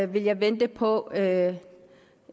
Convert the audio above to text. vil jeg vente på at